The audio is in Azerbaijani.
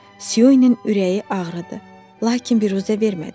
Siyunun ürəyi ağrıdı, lakin biruzə vermədi.